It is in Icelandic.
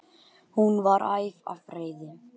Hún var æf af reiði.